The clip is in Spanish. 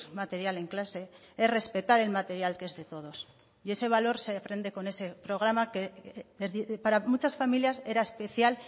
material en clase es respetar el material que es de todos y ese valor se aprende con ese programa que para muchas familias era especial